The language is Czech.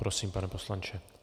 Prosím, pane poslanče.